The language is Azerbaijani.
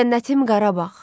Cənnətim Qarabağ,